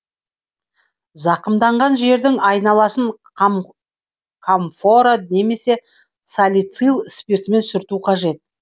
зақымданған жердің айналасын камфора немесе салицил спиртімен сүрту қажет